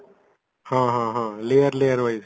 ହଁ ହଁ ହଁ layer layer wise